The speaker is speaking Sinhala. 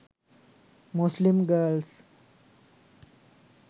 muslim girls